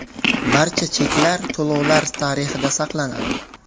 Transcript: Barcha cheklar to‘lovlar tarixida saqlanadi.